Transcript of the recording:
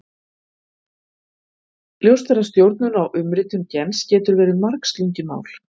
Ljóst er að stjórnun á umritun gens getur verið margslungið mál.